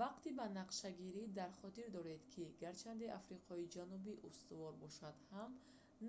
вақти банақшагирӣ дар хотир доред ки гарчанде африқои ҷанубӣ устувор бошад ҳам